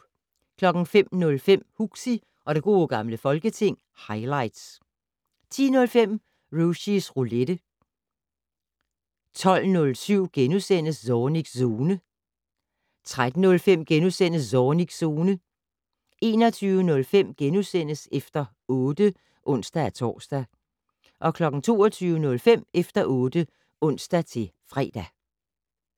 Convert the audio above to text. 05:05: Huxi og det gode gamle folketing - highlights 10:05: Rushys Roulette 12:07: Zornigs Zone * 13:05: Zornigs Zone * 21:05: Efter 8 *(ons-tor) 22:05: Efter 8 (ons-fre)